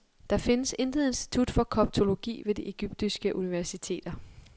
Der findes intet institut for koptologi ved de egyptiske universiteter.